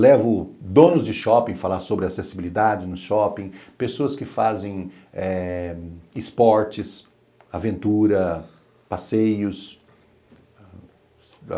Levo donos de shopping falar sobre acessibilidade no shopping, pessoas que fazem eh esportes, aventura, passeios.